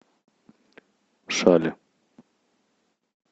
шали